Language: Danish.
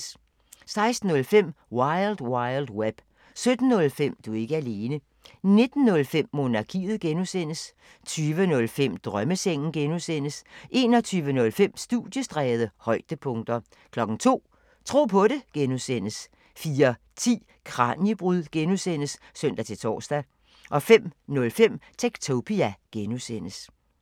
16:05: Wild Wild Web 17:05: Du er ikke alene 19:05: Monarkiet (G) 20:05: Drømmesengen (G) 21:05: Studiestræde – højdepunkter 02:00: Tro på det (G) 04:10: Kraniebrud (G) (søn-tor) 05:05: Techtopia (G)